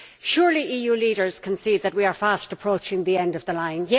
Surely EU leaders can see that we are fast approaching the end of the line.